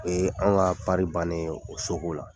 O y'an ka baara bannen ye o soko la.